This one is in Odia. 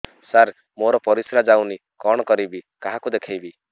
ସାର ମୋର ପରିସ୍ରା ଯାଉନି କଣ କରିବି କାହାକୁ ଦେଖେଇବି